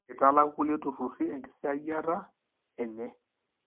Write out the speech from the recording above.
mitalaku kulie tururi engisiayiata enye,